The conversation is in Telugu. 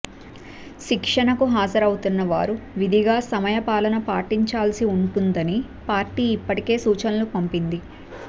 శిక్షణకు హాజరవుతున్న వారు విధిగా సమయపాలన పాటించాల్సి ఉంటుందని పార్టీ ఇప్పటికే సూచనలు పంపింది